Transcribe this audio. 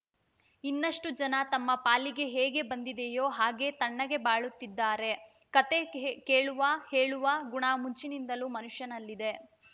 ಇನ್ನಷ್ಟುಜನ ತಮ್ಮ ಪಾಲಿಗೆ ಹೇಗೆ ಬಂದಿದೆಯೋ ಹಾಗೇ ತಣ್ಣಗೆ ಬಾಳುತ್ತಿದ್ದಾರೆ ಕಥೆ ಕೇ ಕೇಳುವ ಹೇಳುವ ಗುಣ ಮುಂಚಿನಿಂದಲೂ ಮನುಷ್ಯನಲ್ಲಿದೆ